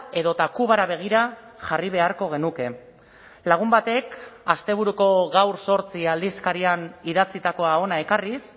edota kubara begira jarri beharko genuke lagun batek asteburuko gaur zortzi aldizkarian idatzitakoa hona ekarriz